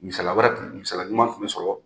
Misaliya wɛrɛ tun, misala ɲuman tun bɛ sɔrɔ.